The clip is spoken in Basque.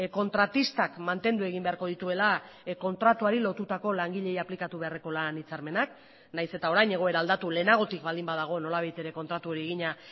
kontratistak mantendu egin beharko dituela kontratuari lotutako langileei aplikatu beharreko lan hitzarmenak nahiz eta orain egoera aldatu lehenagotik baldin badago nolabait ere kontratu hori egina